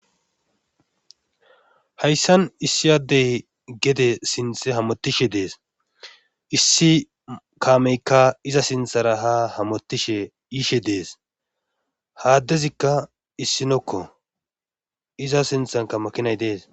Hayssan issi addey gede sinththara hamotishe dees. issi kaameykka iza sinthara ha hamotishe dees. ha addezikka issinokko iza sinthanka makinay dees.